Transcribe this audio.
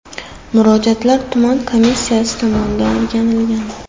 Murojaatlar tuman komissiyasi tomonidan o‘rganilgan.